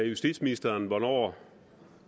justitsministeren hvornår